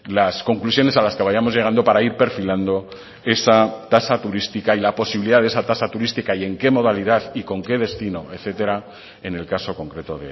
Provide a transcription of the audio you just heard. las conclusiones a las que vayamos llegando para ir perfilando esa tasa turística y la posibilidad de esa tasa turística y en qué modalidad y con qué destino etcétera en el caso concreto